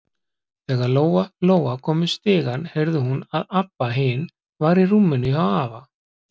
Þegar Lóa-Lóa kom upp stigann heyrði hún að Abba hin var í rúminu hjá afa.